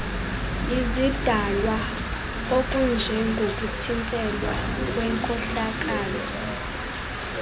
izidalwa okunjengokuthintelwa kwenkohlakalo